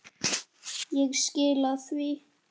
Ég skila því.